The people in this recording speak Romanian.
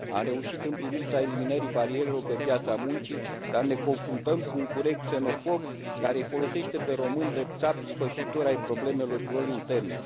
Am reușit în privința eliminării barierelor pe piața muncii, dar ne confruntăm cu un curent xenofob, care îi folosește pe români drept țapi ispășitori ai problemelor lor interne.